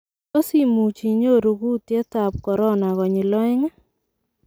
Tos imuuch inyoruu kuut ab corona konyil ooeng'.